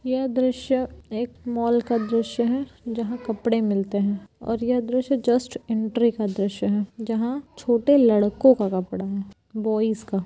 यह द्रश्य एक मॉल का द्रश्य हैजहाँ कपड़े मिलते है और यह द्रश्य जस्ट एंट्री का द्रश्य है जहां छोटे लड़कों का कपड़ा है बॉयज का।